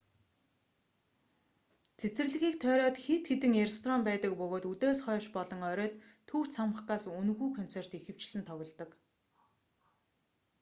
цэцэрлэгийг тойроод хэд хэдэн ресторан байдаг бөгөөд үдээс хойш болон оройд төв цамхгаас үнэгүй концерт ихэвчлэн тоглодог